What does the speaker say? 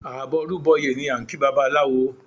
Àbọrúbọyè ni a ń kí babaláwo